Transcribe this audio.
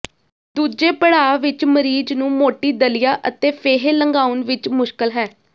ਦੂਜੇ ਪੜਾਅ ਵਿਚ ਮਰੀਜ਼ ਨੂੰ ਮੋਟੀ ਦਲੀਆ ਅਤੇ ਫੇਹੇ ਲੰਘਾਉਣ ਵਿਚ ਮੁਸ਼ਕਲ ਹੈ